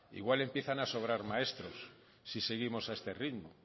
igual empiezan a sobrar maestros si seguimos a este ritmo